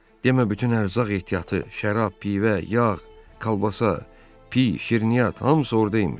Demə bütün ərzaq ehtiyatı, şərab, pivə, yağ, kolbasa, pi, şirniyyat hamısı orda imiş.